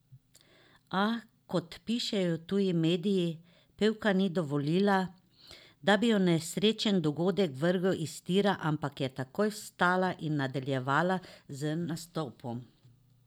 A, kot pišejo tuji mediji, pevka ni dovolila, da bi jo nesrečen dogodek vrgel iz tira, ampak je takoj vstala in nadaljevala z nastopom.